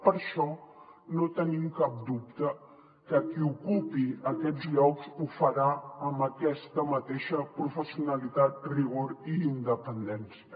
per això no tenim cap dubte que qui ocupi aquests llocs ho farà amb aquesta mateixa professionalitat rigor i independència